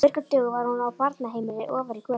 Á virkum dögum var hún á barnaheimili ofar í götunni.